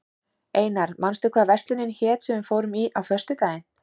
Einar, manstu hvað verslunin hét sem við fórum í á föstudaginn?